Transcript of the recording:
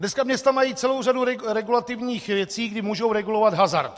Dneska města mají celou řadu regulativních věcí, kdy mohou regulovat hazard.